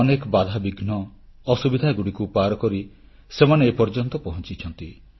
ଅନେକ ବାଧାବିଘ୍ନ ଅସୁବିଧାଗୁଡ଼ିକୁ ପାରକରି ସେମାନେ ଏପର୍ଯ୍ୟନ୍ତ ପହଂଚିଛନ୍ତି